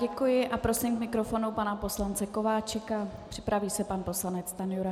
Děkuji a prosím k mikrofonu pana poslance Kováčika, připraví se pan poslanec Stanjura.